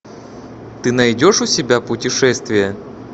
ты найдешь у себя путешествия